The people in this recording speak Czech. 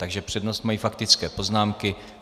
Takže přednost mají faktické poznámky.